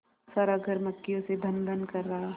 सारा घर मक्खियों से भनभन कर रहा था